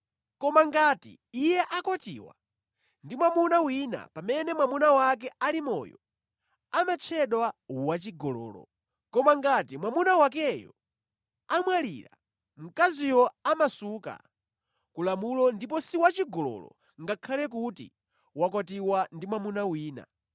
Koma ngati iye akwatiwa ndi mwamuna wina pamene mwamuna wake ali moyo, amatchedwa wachigololo. Koma ngati mwamuna wakeyo amwalira, mkaziyo amasuka ku lamulo ndipo si wachigololo, ngakhale kuti wakwatiwa ndi mwamuna wina.